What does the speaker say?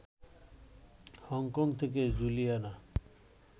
Hong Kong থেকে Juliana